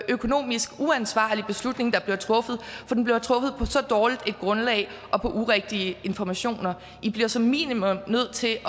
økonomisk uansvarlige beslutning der bliver truffet for den bliver truffet på så dårligt et grundlag og på urigtige informationer i bliver som minimum nødt til at